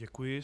Děkuji.